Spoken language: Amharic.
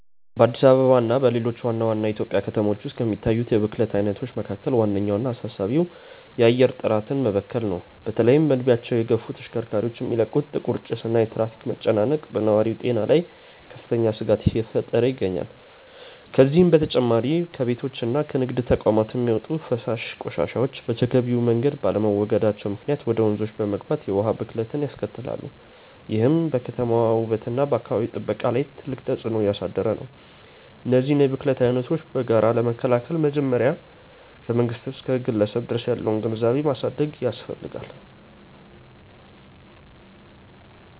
በአዲስ አበባ እና በሌሎች ዋና ዋና የኢትዮጵያ ከተሞች ውስጥ ከሚታዩት የብክለት አይነቶች መካከል ዋነኛውና አሳሳቢው የአየር ጥራት መበከል ነው። በተለይም እድሜያቸው የገፉ ተሽከርካሪዎች የሚለቁት ጥቁር ጭስ እና የትራፊክ መጨናነቅ በነዋሪው ጤና ላይ ከፍተኛ ስጋት እየፈጠረ ይገኛል። ከዚህም በተጨማሪ ከቤቶችና ከንግድ ተቋማት የሚወጡ የፍሳሽ ቆሻሻዎች በተገቢው መንገድ ባለመወገዳቸው ምክንያት ወደ ወንዞች በመግባት የውሃ ብክለትን ያስከትላሉ፤ ይህም በከተማዋ ውበትና በአካባቢ ጥበቃ ላይ ትልቅ ተጽዕኖ እያሳደረ ነው። እነዚህን የብክለት አይነቶች በጋራ ለመከላከል መጀመሪያ ከመንግስት እስከ ግለሰብ ድረስ ያለውን ግንዛቤ ማሳደግ ያስፈልጋል።